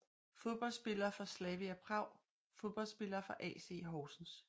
Fodboldspillere fra Slavia Prag Fodboldspillere fra AC Horsens